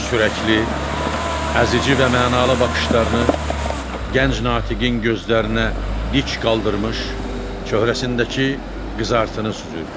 Sürəkli, əzici və mənalı baxışlarını Gənc Natiqin gözlərinə dik qaldırmış, çöhrəsindəki qızartını süzürdü.